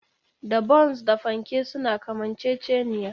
Da Bons da fanke suna kamanceceniya